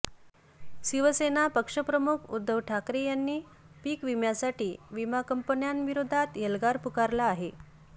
शिवसेना पक्षप्रमुख उद्धव ठाकरे यांनी पीकविम्यासाठी विमा कंपन्यांविरोधात एल्गार पुकारला आहे